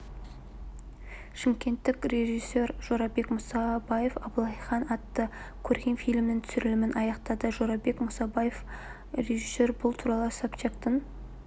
шымкенттік режиссер жорабек мұсабаев абылайхан атты көркем фильмнің түсірілімін аяқтады жорабек мұсабаев режиссер бұл туралы собчактың